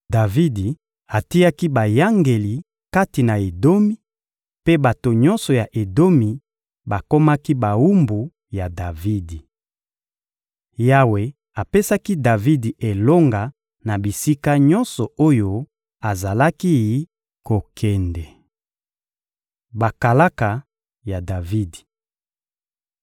Davidi atiaki bayangeli kati na Edomi, mpe bato nyonso ya Edomi bakomaki bawumbu ya Davidi. Yawe apesaki Davidi elonga na bisika nyonso oyo azalaki kokende. Bakalaka ya Davidi (2Sa 8.15-18)